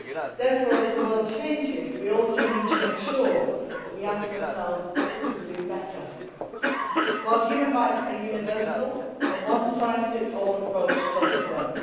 Therefore, as the world changes, we also need to make sure that we ask ourselves what we could do better. While human rights are universal, a one size fits all' approach does not work.